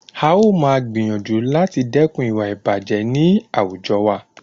A ó máa gbìyànjú láti dẹ́kun ìwà ìbàjẹ́ ní àwùjọ wa.